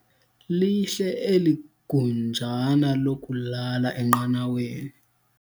Lihle eli gunjana lokulala enqanaweni.